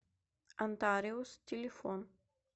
антариус телефон